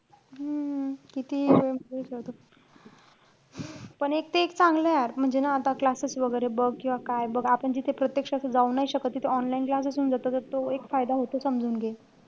हम्म कितीही useless असो. पण एक ते एक चांगलंय यार म्हणजे ना आता classes वैगेरे बघ किंवा काय बघ. आपण जिथे प्रत्यक्ष असं जाऊन नाई शकत, तिथं online classes होऊन जातात. त तो एक फायदा होतो समजून घे.